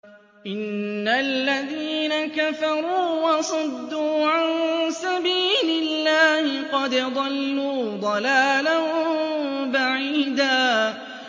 إِنَّ الَّذِينَ كَفَرُوا وَصَدُّوا عَن سَبِيلِ اللَّهِ قَدْ ضَلُّوا ضَلَالًا بَعِيدًا